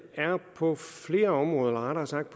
er på flere områder eller rettere sagt